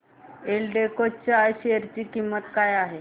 एल्डेको च्या शेअर ची किंमत काय आहे